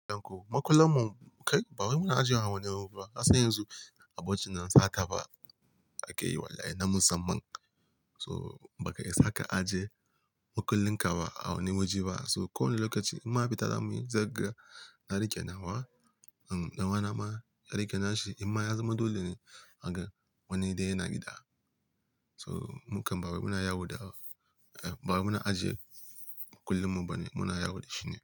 Makullanmu kai, ba wai muna ajiye a wani ruwa. Har sai yanzu, abokina sata ba aka yi wallaye na musamman. So bakai isa ka aje makullin ka ba a wani waje ba. So ko wane lokaci in ma fita za muyi za ga, na rike nawa. Dan uwana ma ya rike nashi, imma ya zama dole ne a gan wani dai yana gida. So mukan bawai muna yawo da, eh bawai muna ajiye makullim mu bane muna yawo da shi ne.